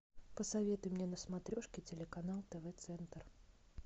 посоветуй мне на смотрешке телеканал тв центр